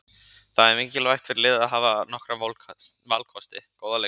Það er mikilvægt fyrir liðið að hafa nokkra valkosti, góða leikmenn.